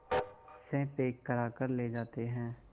से पैक कराकर ले जाते हैं